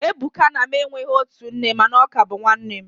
Ebuka na mu enweghi otu nne, mana ọ ka bu nwannem